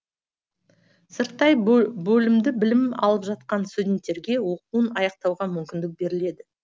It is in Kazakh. сырттай бөлімде білім алып жатқан студенттерге оқуын аяқтауға мүмкіндік беріледі